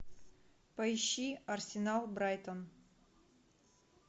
поищи арсенал брайтон